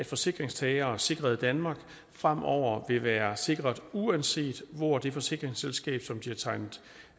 forsikringstagere sikret i danmark fremover vil være sikret uanset hvor det forsikringsselskab som de har tegnet